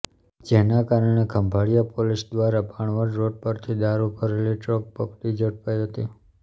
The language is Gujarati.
જેના કારણે ખંભાળીયા પોલીસ દ્વારા ભાણવડ રોડ પરથી દારૂ ભરેલી ટ્રક પકડી ઝડપાઈ હતી